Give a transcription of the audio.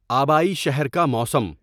آبائی شہر کا موسم